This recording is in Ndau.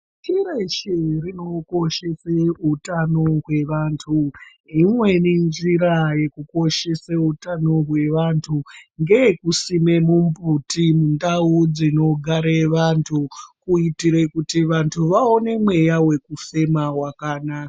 Pashi reshe rinokoshese utano hwevantu. Imweni njira yekukoshese utano hwevantu ,ngeyekusime mimbuti mundau dzinogare vantu , kuitire kuti vantu vaone mweya wekufema wakanaka.